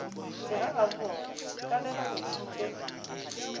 segagabobona ka ge ba ntšhitše